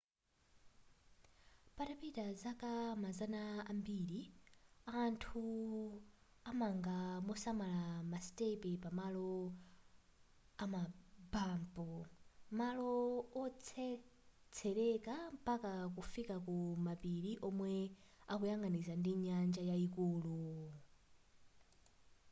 patapita zaka mazana ambiri anthu amanga mosamala masitepe pa malo amabampu malo otsetseleka mpaka kukafika ku mapiri omwe akuyang'anizana ndi nyanja yayikulu